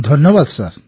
ଧନ୍ୟବାଦ ସାର୍